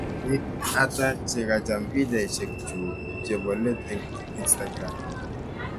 Biik ata chekacham pikchainik chuck chebolet en Instagram